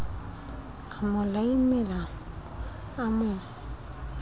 a mo laimela a mo